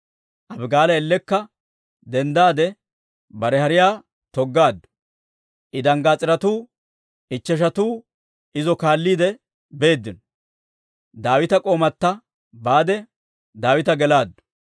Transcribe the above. Abigaala ellekka denddaade bare hariyaa toggaaddu; I danggaas'iretuu ichcheshatuu izo kaalliide beeddino; Daawita k'oomatta baade, Daawita gelaaddu.